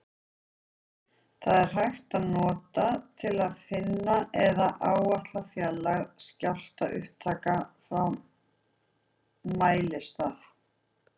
Þetta er hægt að nota til að finna eða áætla fjarlægð skjálftaupptaka frá mælistað.